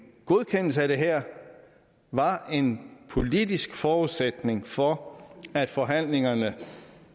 godkendelse af det her var en politisk forudsætning for at forhandlingerne